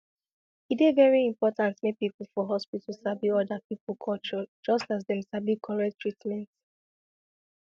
e dey very important make people for hospital sabi other people culture just as dem sabi correct treatment